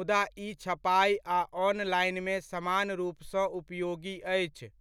मुदा ई छपाइ आ ऑनलाइनमे समान रूपसँ उपयोगी अछि।